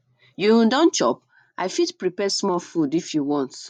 you um don chop i fit prepare small food if you want